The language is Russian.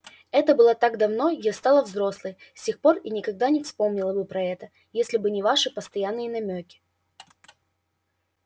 это было так давно я стала взрослой с тех пор и никогда и не вспомнила бы про это если бы не ваши постоянные намёки